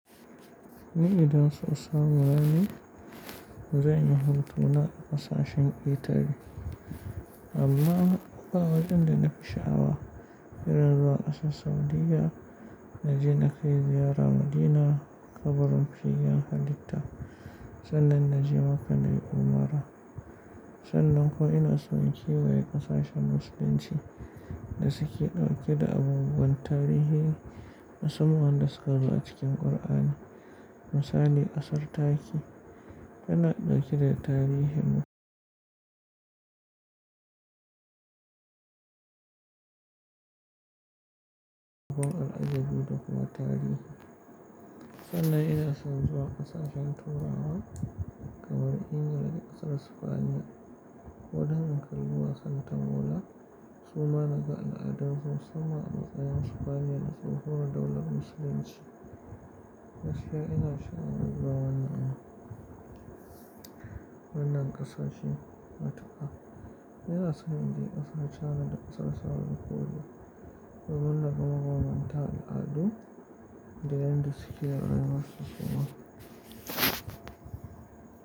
Ni idan so samu nane, bazan yi hotona in sa shi ba litafi amma ba irin in da nafi sha'awa, irin zuwa ƙasar Saudiyya, na je na kai ziyara Madina, kabarin fiyayen halitta, sannan na je maka na yi Umara. Sannan kuma in na son in kewaye ƙasashen Musulunci da suke ɗauke da abubuwan tarihi, musamman da su ƙaru a cikin Kur'ani, misali ƙasar taki. Kana ɗauke da tarihin abun al'ajibi da kuma tarihi. Sannan ina son zuwa ƙasashen turawa, kamar Ingila da ƙasar Sifaniya. Ko dan mu kalli wasan ta bola, suma naga al'adun su musamman sufaniya da sun koma daular Musulunci. Gaskiya in na sha'awar zuwa wannan, wannan ƙasashen matuka. Ina son in je ƙasar Cana da ƙasar Saudi ko da, domin na kuma bambanta al'adu da yan da suke rayuwa kuma.